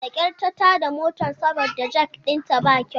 Da kyar ta tada motar saboda jak ɗinta ba kyau.